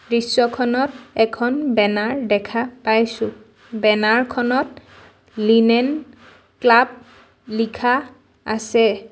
দৃশ্যখনত এখন বেনাৰ দেখা পাইছো বেনাৰখনত লিনেন ক্লাৱ লিখা আছে।